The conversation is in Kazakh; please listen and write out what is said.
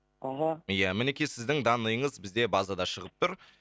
аха ия мінекей сіздің данныйыңыз бізде базада шығып тұр